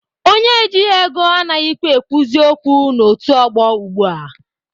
Onye ejighi ego anaghịkwa ekwuzi okwu n'otu ọgbọ ugbua.